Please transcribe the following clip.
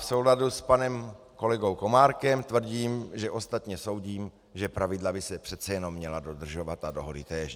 V souladu s panem kolegou Komárkem tvrdím, že ostatně soudím, že pravidla by se přece jenom měla dodržovat a dohody též.